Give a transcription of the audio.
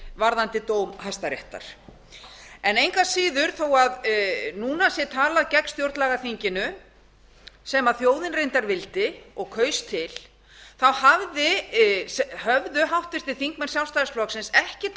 varðandi dóm hæstaréttar engu að síður þó að núna sé talað gegn stjórnlagaþinginu sem þjóðin reyndar vildi og kaus til höfðu háttvirtir þingmenn sjálfstæðisflokksins ekki